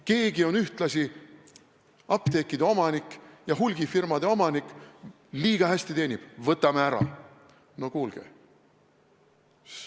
Keegi on ühtlasi apteekide omanik ja hulgimüügifirmade omanik – liiga hästi teenib, võtame ära!